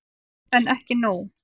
En ekki nóg.